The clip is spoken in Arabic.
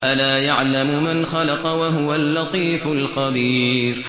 أَلَا يَعْلَمُ مَنْ خَلَقَ وَهُوَ اللَّطِيفُ الْخَبِيرُ